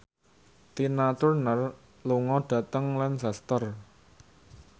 Tina Turner lunga dhateng Lancaster